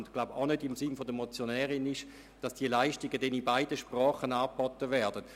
Es wird wohl kaum im Sinne der Motionärin sein, dass diese Leistungen in beiden Sprachen angeboten werden.